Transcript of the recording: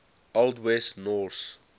old west norse